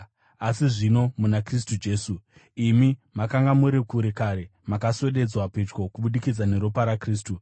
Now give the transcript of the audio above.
Asi zvino muna Kristu Jesu, imi makanga muri kure kare, makaswededzwa pedyo kubudikidza neropa raKristu.